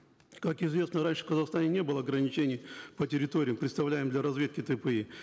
как известно раньше в казахстане не было ограничений по территориям предоставляемым для разведки тпи